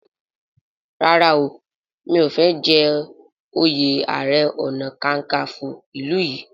ràrá o mi'o fè jé oyè aré ọnà kankanfo ilú yí.